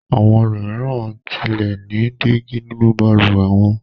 Àwọn ẹlòmíràn tilẹ̀ ní dígí nínú balùwẹ̀ wọn.